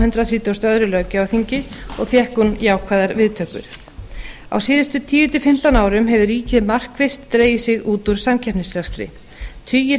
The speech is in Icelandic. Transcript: hundrað þrítugasta og öðrum löggjafarþingi og fékk hún jákvæðar viðtökur á síðustu tíu til fimmtán árum hefur ríkið markvisst dregið sig út úr samkeppnisrekstri tugir